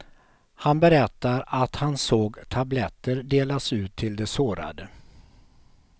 Han berättar att han såg tabletter delas ut till de sårade.